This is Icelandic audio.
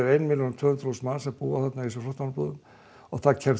ein milljón og tvö hundruð þúsund manns búi þarna í þessum flóttamannabúðum það kemst